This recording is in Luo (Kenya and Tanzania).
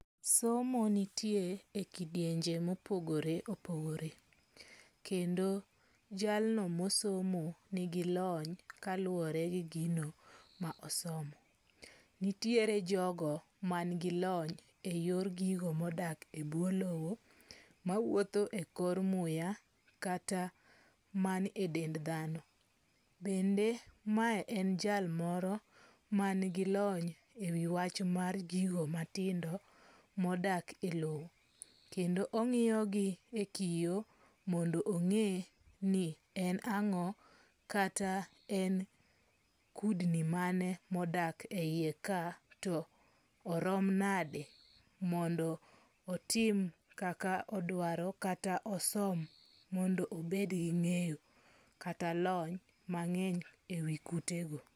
Somo nitie e kidienje mopogore opogore. Kendo jalno mosomo nigi lony kaluwore gi gino ma osomo. Nitiere jogo man gi lony e yor gigo modak e bwo lowo, mawuotho e kor muya kata man e dend dhano. Bende mae e jalmoro man gi lony e wi wach mar gigo matindo modak e lowo. Kendo ong'iyo gi e kiyo mondo ong'e ni en ang'o kata en kudni mane modak e yie ka to orom nade mondo otim kaka odwaro kata osom mondo obed gi ng'eyo kata lony mang'eny e wi kute go.